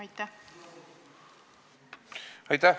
Aitäh!